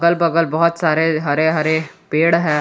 अगल बगल बहुत सारे हरे हरे पेड़ है।